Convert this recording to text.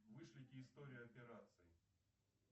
вышлите историю операций